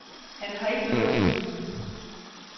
Han har ikke noget at skjule.